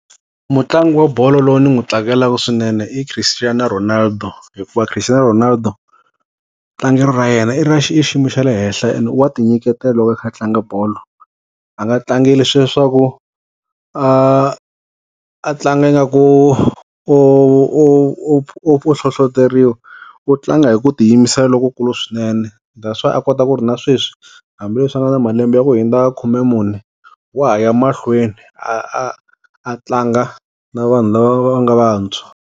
Mutlangi wa bolo loyi ni n'wi tsakelaka swinene i Christiano Ronaldo hikuva Christiano Ronaldo tlangelo ra yena i ra xi i xiyimo xa le henhla ene wa ti nyiketela loko a kha a tlanga bolo a nga tlangi hi leswiya swaku a a tlanga nga ku u u u u hlohloteriwa u tlanga hi ku tiyimisela lokokulu swinene that's why a kota ku ri na sweswi hambileswi a nga na malembe ya ku hundza khumemune wa haya mahlweni a a a tlanga na vanhu lava va nga vantshwa.